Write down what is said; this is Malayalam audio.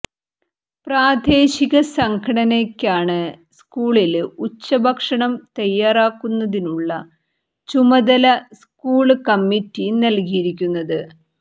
പ്രാദേശിക സംഘടനയ്ക്കാണ് സ്കൂളില് ഉച്ചഭക്ഷണം തയ്യാറാക്കുന്നതിനുള്ള ചുമതല സ്കൂള് കമ്മിറ്റി നല്കിയിരിക്കുന്നത്